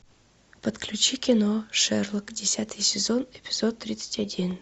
подключи кино шерлок десятый сезон эпизод тридцать один